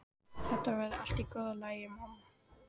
Þetta verður allt í góðu lagi, mamma.